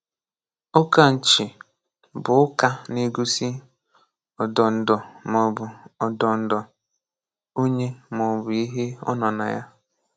Ụ̀kánchị̀ bụ̀ ụ́kà ná-égōsí ọdó̄ǹdọ̀ ma ọ̀ bụ̀ ọdó̄ǹdọ̀ onye ma ọ̀ bụ̀ ìhè nọ̀ ná yá.